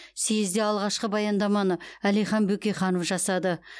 съезде алғашқы баяндаманы әлихан бөкейханов жасады